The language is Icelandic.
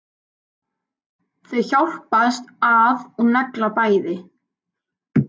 Þau hjálpast að og negla bæði.